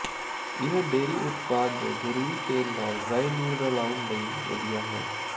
ਇਹ ਡੇਅਰੀ ਉਤਪਾਦ ਜ ਜ਼ਰੂਰੀ ਤੇਲ ਨਾਲ ਰਾਈ ਨੂੰ ਰਲਾਉਣ ਲਈ ਵਧੀਆ ਹੈ